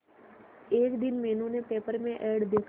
एक दिन मीनू ने पेपर में एड देखा